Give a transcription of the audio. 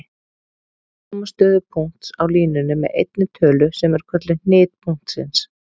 Lýsa má stöðu punkts á línunni með einni tölu sem er kölluð hnit punktsins.